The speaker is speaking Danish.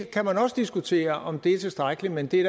kan også diskutere om det er tilstrækkeligt men det er